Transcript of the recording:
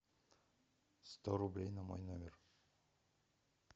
сто рублей на мой номер